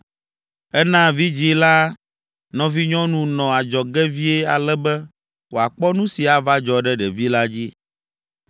Ena vidzĩ la nɔvinyɔnu nɔ adzɔge vie ale be wòakpɔ nu si ava dzɔ ɖe ɖevi la dzi.